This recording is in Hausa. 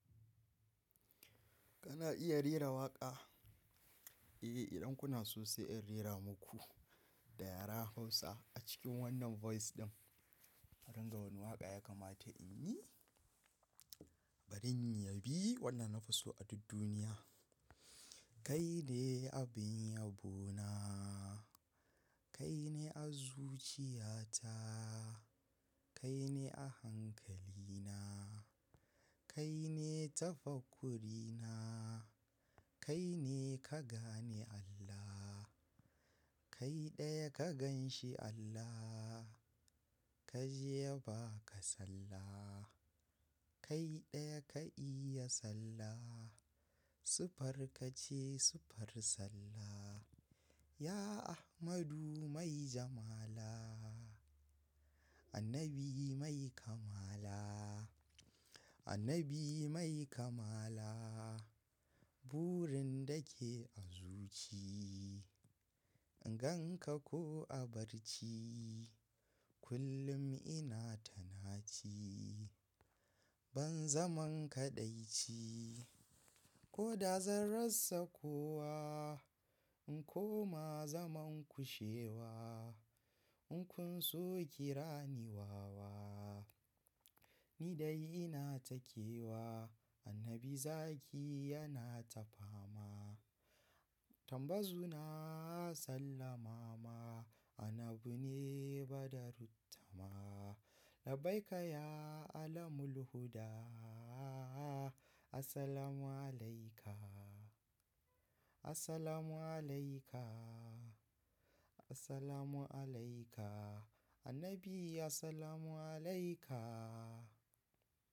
Kana iya rera waƙa? Eh, idan kuna sosai in rera muku da yaren Hausa a cikin wannan voice ɗin. To wani waƙa ya kamata in yi? Bari in yabi wannan nafi so a duk duniya. Kai ne abun yabo na Kai ne a zuciya ta. Kai ne a hankali na. Kai ne tafakkuri na. Kai ne ka gane Allah. Kai ne ka gan shi allah Ka je ya ba ka sallah. Kai ɗaya ka iya sallah. Siffar ka ce siffar sallah. Ya Ahmadu Mai Jamala. Annabi Mai kamala. Annabi Mai kamala. Burin da ke a zuci. In gan ka ko a barci. Kullum ina ta naci Ban zaman kaɗaici ko da zan rassa kowa. In koma zaman kushewa. In kun so kira ni wawa. Ni dai ina takewa. Annabi zaki yana tafama. Tambazu na sallama ma. Annabi ne badaruttama. Labbaika ya alamul huda. Assalamu alaika assalamu alaika As-salamu alayka. Annabi as-salamu alayka.